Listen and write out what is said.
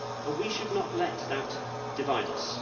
We should not let that divide us.